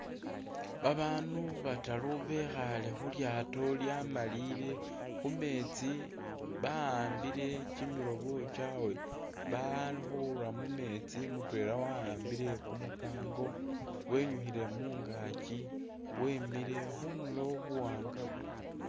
Babaandu bataru bekhaale khu lyaato lyamalile khu meetsi ba'ambile kyimilobo kyawe bali khura mu meetsi mutwela wahambile kumukaango wenyukhile mungaakyi wemile khundulo buwaanga bulikho.